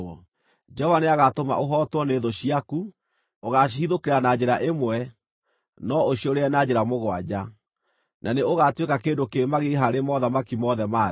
Jehova nĩagatũma ũhootwo nĩ thũ ciaku. Ũgaacihithũkĩra na njĩra ĩmwe, no ũciũrĩre na njĩra mũgwanja, na nĩ ũgaatuĩka kĩndũ kĩ magigi harĩ mothamaki mothe ma thĩ.